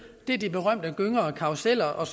det er de berømte gynger og karruseller og